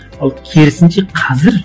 ал керісінше қазір